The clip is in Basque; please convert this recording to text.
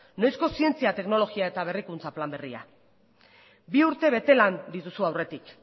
noizko zientzia teknologia eta berrikuntza plan berria bi urte betelan dituzu aurretik